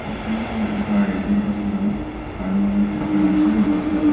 एक गाड़ियाचेर बसला आडो लाकडांचो केल्लो आसा.